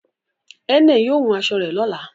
Ẹnẹ yóò hún aṣọ rẹ̀ lọ́lá